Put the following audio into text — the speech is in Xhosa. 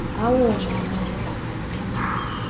awona mandla mancinane